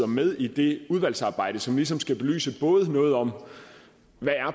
med i det udvalgsarbejde som ligesom skal belyse noget om hvad